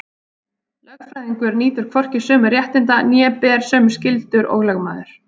Lögfræðingur nýtur hvorki sömu réttinda né ber sömu skyldur og lögmaður.